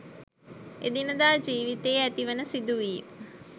එදිනෙදා ජිවිතයේ ඇතිවෙන සිදුවීම්